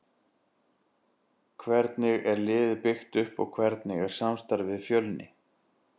Hvernig er liðið byggt upp og hvernig er samstarfið við Fjölni?